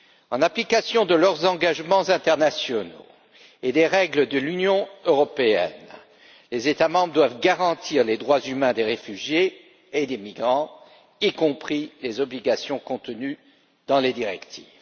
En application de leurs engagements internationaux et des règles de l'Union européenne, les États membres doivent garantir les droits humains des réfugiés et des migrants, y compris les obligations contenues dans les directives.